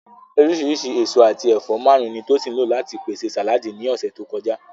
Oríṣìíríṣìí èso àti ẹ̀fọ́ márùn-ún ni Tosin lò láti pèsè sàláàdì ní ọ̀sẹ̀ tó kọjá.